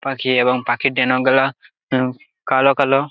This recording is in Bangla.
পাখি এবং পাখির ডেনাগুলা উম কালো কালো।